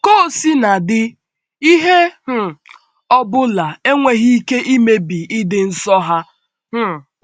Ka o sina dị, ihe um ọ bụla enweghị ike imebi ịdị nsọ ha. um